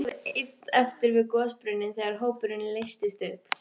Hann stóð einn eftir við gosbrunninn þegar hópurinn leystist upp.